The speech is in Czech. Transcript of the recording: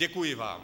Děkuji vám.